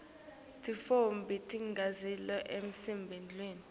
tintfombi tigidzela esigodlweni